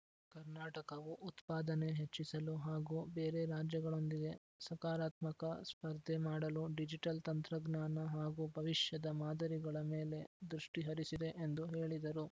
ಕರ್ನಾಟಕವು ಉತ್ಪಾದನೆ ಹೆಚ್ಚಿಸಲು ಹಾಗೂ ಬೇರೆ ರಾಜ್ಯಗಳೊಂದಿಗೆ ಸಕಾರಾತ್ಮಕ ಸ್ಪರ್ಧೆ ಮಾಡಲು ಡಿಜಿಟಲ್‌ ತಂತ್ರಜ್ಞಾನ ಹಾಗೂ ಭವಿಷ್ಯದ ಮಾದರಿಗಳ ಮೇಲೆ ದೃಷ್ಟಿಹರಿಸಿದೆ ಎಂದು ಹೇಳಿದರು